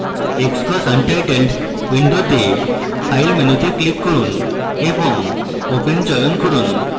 xcos untitled window file মেনুতে click করুন এবং open চয়ন করুন